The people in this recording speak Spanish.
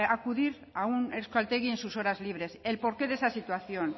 acudir a un euskaltegi en sus horas libres el porqué de esa situación